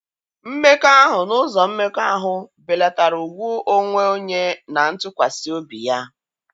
Mmekọahụ n'ụzọ mmekọahụ belatara ùgwù onwe onye na ntụkwasị obi ya.